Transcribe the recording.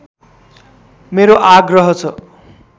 मेरो आग्रह छ